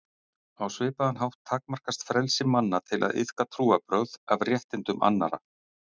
Á svipaðan hátt takmarkast frelsi manna til að iðka trúarbrögð af réttindum annarra.